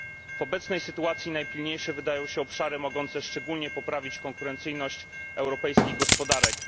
W obecnej sytuacji najpilniejsze wydają się obszary mogące szczególnie poprawić konkurencyjność europejskich gospodarek.